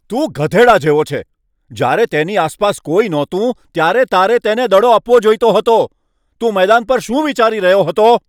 તું ગધેડા જેવો છે. જ્યારે તેની આસપાસ કોઈ નહોતું ત્યારે તારે તેને દડો આપવો જોઈતો હતો. તું મેદાન પર શું વિચારી રહ્યો હતો?